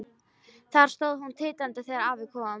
Þar stóð hún titrandi þegar afi kom.